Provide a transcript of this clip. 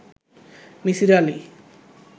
Misir Ali